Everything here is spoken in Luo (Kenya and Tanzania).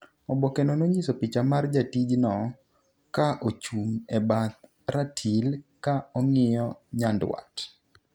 oboke no nonyiso picha mar jatij no ka ochung' e bath ratil ka ong'iyo nyandwat